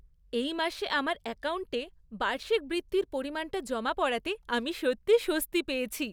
এই মাসে আমার অ্যাকাউন্টে বার্ষিক বৃত্তির পরিমাণটা জমা পড়াতে আমি সত্যিই স্বস্তি পেয়েছি।